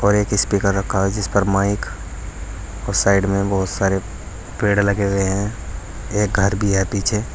और एक स्पीकर रखा हुआ है जिस पर माइक और साइड में बहुत सारे पेड़ लगे हुए हैं एक घर भी है पीछे।